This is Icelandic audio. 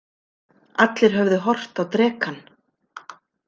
Allir höfðu horft á drekann.